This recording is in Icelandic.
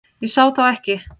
Ég sá þetta ekki.